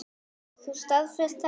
Getur þú staðfest þetta?